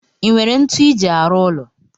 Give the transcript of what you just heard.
Inwere ntu iji arụ ụlọ?